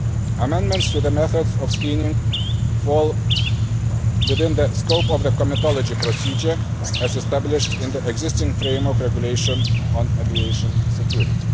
Amendments to the methods of screening fall within the scope of the comitology procedure as established in the existing framework regulation on aviation security.